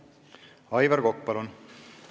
Aivar Kokk, palun!